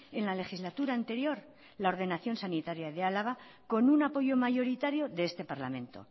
en la legislatura anterior la ordenación sanitaria de álava con un apoyo mayoritario de este parlamento